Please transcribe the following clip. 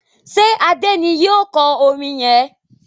ṣe Ade ní yíò kò orin yén?